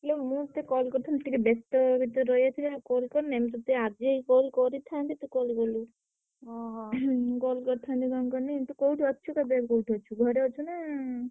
ମୁଁ ସେ call କରିଥିଲି ଟିକେ ବେସ୍ତ ଭିତରେ ରହିଯାଇଥିଲି ଆଉ call କରିନି। ମୁଁ ତତେ ଆଜି call କରିଥାନ୍ତି ତୁ call କଲୁ। ମୁଁ call କରିଥାନ୍ତି କଣ କହନି ତୁ କୋଉଠି ଅଛୁ ଏବେ କୋଉଠି ଅଛୁ ଘରେ ଅଛୁ ନା ଉଁ?